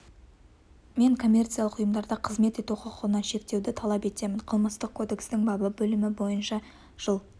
мен коммерциялық ұйымдарда қызмет ету құқығынан шектеуді талап етемін қылмыстық кодекстің бабы бөлімі бойынша жыл